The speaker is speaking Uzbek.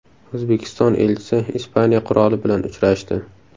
O‘zbekiston elchisi Ispaniya qiroli bilan uchrashdi.